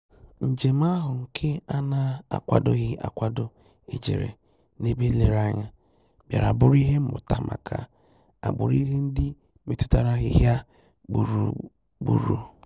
Njèm áhụ́ nke á nà-ákwàdòghị́ ákwádò éjérè n’ébè nlèrèànyà, bìàrà bụ́rụ́ ìhè mmụ́tà màkà àgbụ̀rụ̀ ìhè ndị́ métụ́tàrà àhị́hị́à gbúrù-gbúrù.